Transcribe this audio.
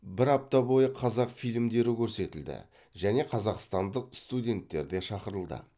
бір апта бойы қазақ филмьдері көрсетілді және қазақстандық студенттер де шақырылды